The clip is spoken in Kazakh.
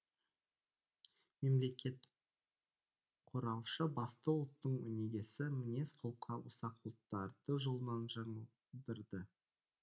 мемлекетқұраушы басты ұлттың өнегесі мінез құлқы ұсақ ұлттарды жолынан жаңылдырды